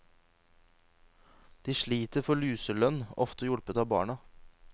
De sliter for luselønn, ofte hjulpet av barna.